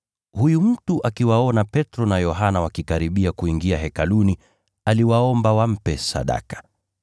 Huyu mtu alipowaona Petro na Yohana wakikaribia kuingia Hekaluni, akawaomba wampe sadaka.